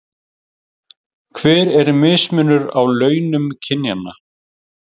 Hver er mismunur á launum kynjanna?